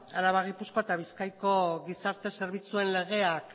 araba gipuzkoa eta bizkaiko gizarte zerbitzuen legeak